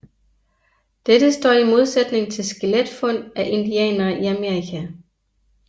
Dette står i modsætning til skeletfund af indianere i Amerika